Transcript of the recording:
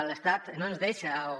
l’estat no ens deixa o